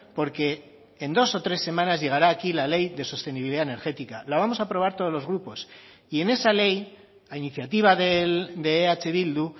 porque en dos o tres semanas llegará aquí la ley de sostenibilidad energética la vamos a aprobar todos los grupos y en esa ley a iniciativa de eh bildu